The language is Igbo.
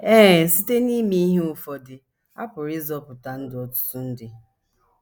Ee, site n’ime ihe ụfọdụ, a pụrụ ịzọpụta ndụ ọtụtụ ndị.